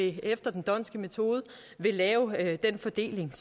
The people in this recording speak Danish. efter den dhondtske metode vil lave den fordeling